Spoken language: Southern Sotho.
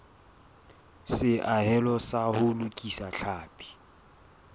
seahelo sa ho lokisa tlhapi